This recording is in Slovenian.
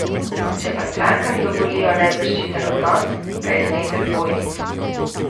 Če pa strankam dovolijo nezaščiten odnos, pa je znesek dvojni.